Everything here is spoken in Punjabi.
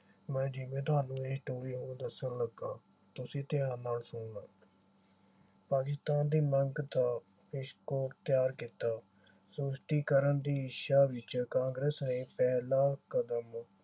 ਮੈਂ ਜਿਵੇਂ ਤੁਹਾਨੂੰ ਇਹ story ਉਹ ਦੱਸਣ ਲੱਗਾ ਤੁਸੀ ਧਿਆਨ ਨਾਲ ਸੁਨਣਾ। ਪਾਕਿਸਤਾਨ ਦੀ ਮੰਗ ਦਾ ਤਿਆਰ ਕੀਤਾ। ਸਪਸ਼ਟੀਕਰਨ ਦੀ ਇੱਛਾ ਵਿਚ ਕਾਂਗਰਸ ਨੇ ਪਹਿਲਾ ਕਦਮ